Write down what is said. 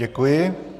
Děkuji.